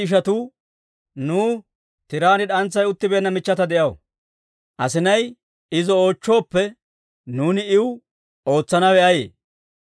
Nuw tiraan d'antsay uttibeenna michchata de'aw; asinay izo oochchooppe, nuuni iw ootsanawe ayee?